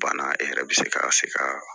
Banna e yɛrɛ bɛ se ka se ka